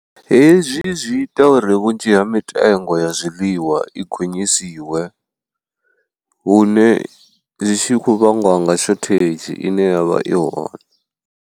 Hezwi zwi ita uri vhunzhi ha mitengo ya zwiḽiwa i gonyisiwe, hune zwi tshi khou vhangwa nga shothedzhi ine ya vha i hone.